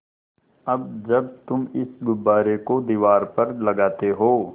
अब जब तुम इस गुब्बारे को दीवार पर लगाते हो